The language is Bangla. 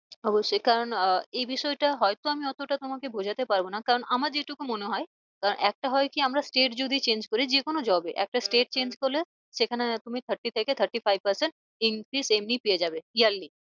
অবশ্যই কারণ আহ এ বিষয়টা হয় তো আমি অতটা তোমাকে বোঝাতে পারবো না। কারণ আমার যে টুকু মনে হয় একটা হয় কি আমরা state যদি change করি যে কোনো job এ একটা state change করলে সেখানে তুমি thirty থেকে thirty five percent increase এমনি পেয়ে যাবে। yearly